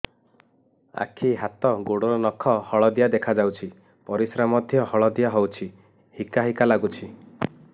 ଆଖି ହାତ ଗୋଡ଼ର ନଖ ହଳଦିଆ ଦେଖା ଯାଉଛି ପରିସ୍ରା ମଧ୍ୟ ହଳଦିଆ ହଉଛି ହିକା ହିକା ଲାଗୁଛି